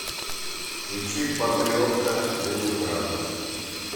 включи патриотка ленинград